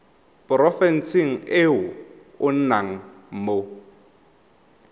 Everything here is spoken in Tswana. porofenseng e o nnang mo